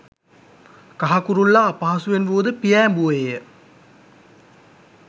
කහ කුරුල්ලා අපහසුවෙන් වුවද පියෑඹුවේය.